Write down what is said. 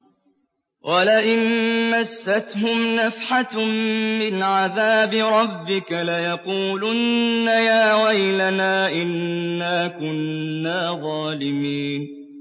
وَلَئِن مَّسَّتْهُمْ نَفْحَةٌ مِّنْ عَذَابِ رَبِّكَ لَيَقُولُنَّ يَا وَيْلَنَا إِنَّا كُنَّا ظَالِمِينَ